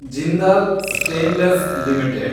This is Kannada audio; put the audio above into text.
Jindal stainless limited